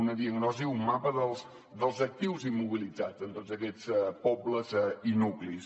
una diagnosi un mapa dels actius immobilitzats en tots aquests pobles i nuclis